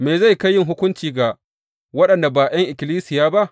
Me zai kai yin hukunci ga waɗanda ba ’yan ikkilisiya ba.